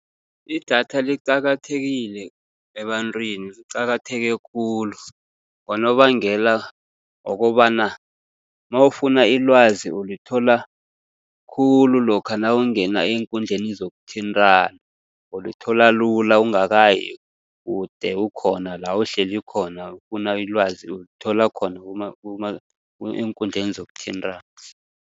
Idatha liqakathekile ebantwini, liqakatheke khulu, ngonobangela wokobana nawufuna ilwazi ulithola khulu lokha nawungena eenkundleni zokuthintana. Ulithola lula ungakayi kude, ukhona la uhleli khona, ufuna ilwazi ulithola khona eenkundleni zokuthintana.